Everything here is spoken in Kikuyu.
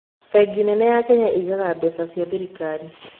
Bengi nene ya Kenya ĩigaga mbeca cia thirikari